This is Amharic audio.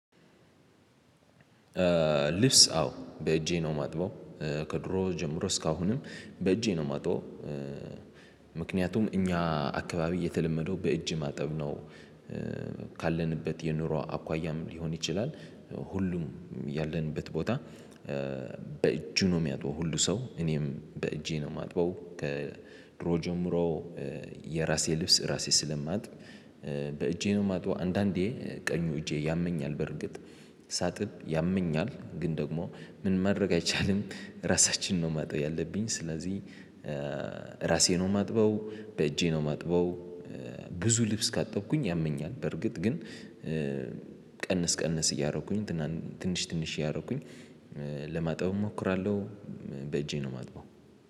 ልብስ አዎ በእጄ ነው እማጥበው ከድሮ ጀምሮ እስካሁንም በእጄ ነው የማጣው። ምክንያቱም እኛ አካባቢ የተለመደው በእጅ ማጠብ ነው። ካለንበት የኑሮ አኳያም ሊሆን ይችላል። ሁሉም ያለንበት ቦታ። በእጁ ነው የሚያጥበው ሁሉ ሰው እኔም በእጄ ነው የማጥበው ከድሮ ጀምሮ የራሴ ልብስ ራሴ ስለማጥብ። በእጄ ነው የማጥበው አንዳንዴ ቀኙ እጄ ያመኛል። በርግጥ ሳጥብ ያመኛል ግን ደግሞ ምንም ማድረግ አይቻልም። ራሳችን ነው ጠ ማጠብ ያለብኝ ስለዚህ። ራሴ ነው ማጥበው በእጄ ነው ማጥበው። ብዙ ልብስ ካጠብኩኝ ያመኛል በርግጥ ግን ቀንስ ቀንስ እያረኩኝ ትንሽ ትንሽ እያረኩኝ ለማጠብ እሞክራለሁ። በእጄ ነው ማጥበብ